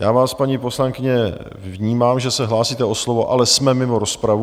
Já vás paní poslankyně, vnímám, že se hlásíte o slovo, ale jsme mimo rozpravu.